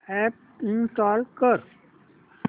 app install कर